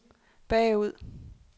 bagud